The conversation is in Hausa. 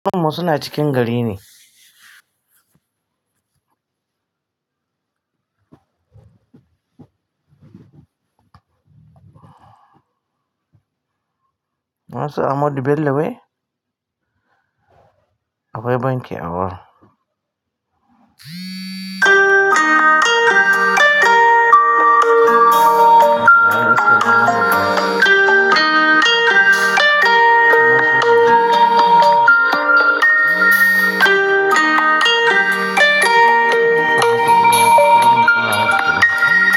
Wamu su na cikin gari ne. Na san amodu bello wai? Akwai banki awurin.